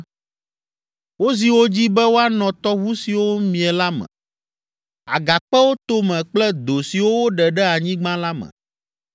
Wozi wo dzi be woanɔ tɔʋu siwo mie la me, agakpewo tome kple do siwo woɖe ɖe anyigba la me.